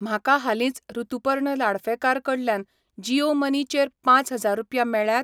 म्हाका हालींच ऋतुपर्ण लाडफेकार कडल्यान जीयो मनी चेर पाच हजार रुपया मेळ्ळ्यात?